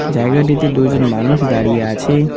জায়গাটিতে দুইজন মানুষ দাঁড়িয়ে আছে।